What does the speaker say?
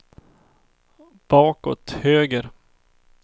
bakåt höger